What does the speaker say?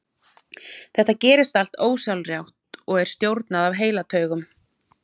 Þetta gerist allt ósjálfrátt og er stjórnað af heilataugum.